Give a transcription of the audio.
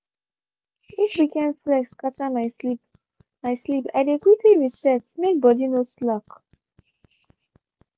if weekend flex scatter my sleep my sleep i dey quickly reset make body no slack